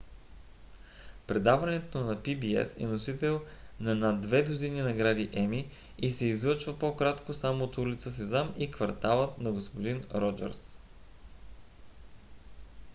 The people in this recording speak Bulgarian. предаването на pbs е носител на над две дузини награди еми и се излъчва по-кратко само от улица сезам и кварталът на г-н роджърс